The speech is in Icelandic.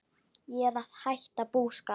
Ég er að hætta búskap.